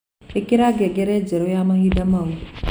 ĩkĩra ngengere njerũ ya mahinda mau